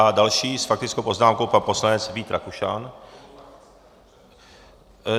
A další s faktickou poznámkou pan poslanec Vít Rakušan.